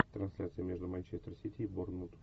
трансляция между манчестер сити и борнмут